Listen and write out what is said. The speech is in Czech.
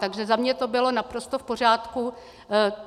Takže za mě to bylo naprosto v pořádku.